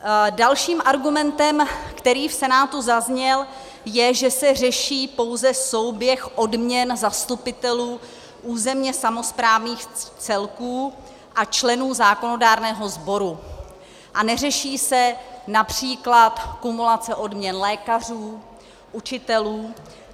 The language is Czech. Dalším argumentem, který v Senátu zazněl, je, že se řeší pouze souběh odměn zastupitelů územně samosprávných celků a členů zákonodárného sboru a neřeší se například kumulace odměn lékařů, učitelů.